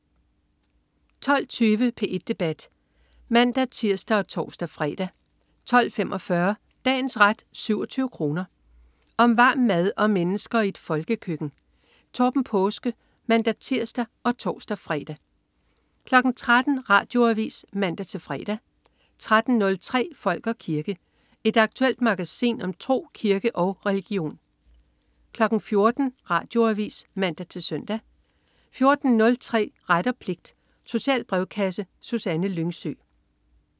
12.20 P1 debat (man-tirs og tors-fre) 12.45 Dagens ret 27 kr. Om varm mad og mennesker i et folkekøkken. Torben Paaske (man-tirs og tors-fre) 13.00 Radioavis (man-fre) 13.03 Folk og kirke. Et aktuelt magasin om tro, kirke og religion 14.00 Radioavis (man-søn) 14.03 Ret og pligt. Social brevkasse. Susanne Lyngsø